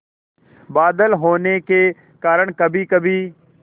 बादल होने के कारण कभीकभी